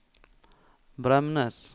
Bremnes